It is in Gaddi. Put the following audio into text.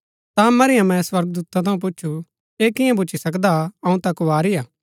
ता मरियमें स्वर्गदूता थऊँ पुछु ऐ कियां भुच्‍ची सकदा अऊँ ता कुँवारी हा